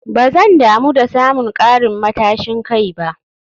Ba zan damu da samun karin matashin kai ba